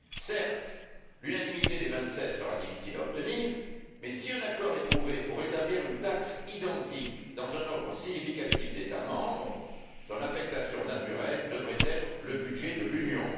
Certes, l'unanimité des Vingt sept sera difficile à obtenir, mais si un accord est trouvé pour établir une taxe identique dans un nombre significatif d'États membres, son affectation naturelle devrait être le budget de l'Union.